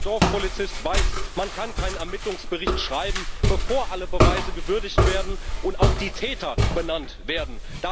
Jeder Dorfpolizist weiß Man kann keinen Ermittlungsbericht schreiben, bevor alle Beweise gewürdigt wurden und auch die Täter benannt wurden.